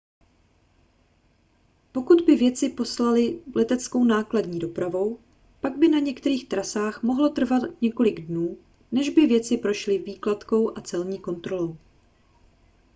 pokud by věci poslali leteckou nákladní dopravou pak by na některých trasách mohlo trvat několik dnů než by věci prošly vykládkou a celní kontrolou